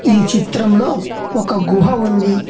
ఈ చిత్రంలో ఒక గుహ ఉంది.